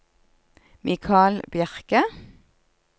Mikal Bjerke